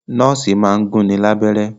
Nọ́ọ̀sì máa ń gún ni lábẹ́rẹ́